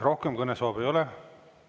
Rohkem kõnesoove ei ole.